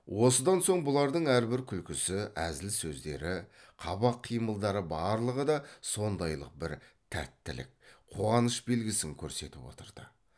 осыдан соң бұлардың әрбір күлкісі әзіл сөздері қабақ қимылдары барлығы да сондайлық бір тәттілік қуаныш белгісін көрсетіп отырды